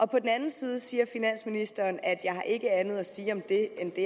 på den anden side siger finansministeren jeg har ikke andet at sige om det end det